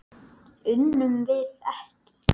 Unnum við ekki?